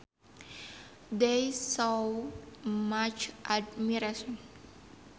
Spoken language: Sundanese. They showed much admiration